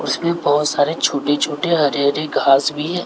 उसमें बहोत सारे छोटे छोटे हरी हरी घास भी है।